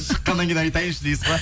шыққаннан кейін айтайыншы дейсіз ба